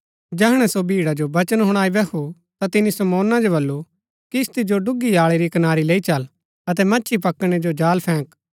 जैहणै सो भीड़ा जो वचन हुणाई बैहू ता तिनी शमौना जो बल्लू किस्ती जो डूगी आळी री कनारी लैई चल अतै मच्छी पकड़णै जो जाल फैंक